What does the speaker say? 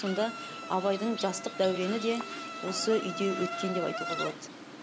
сонда абайдың жастық дәурені де осы үйде өткен деп айтуға болады